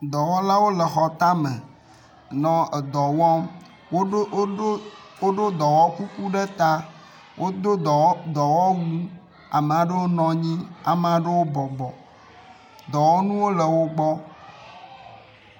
dɔwɔlawo le xɔ táme hele dɔwɔm, woɖó dɔwɔ kuku ɖe ta wodó dɔwɔwu, amaɖewo nɔnyi amaɖewo bɔbɔ, dɔwɔnuwo le wogbɔ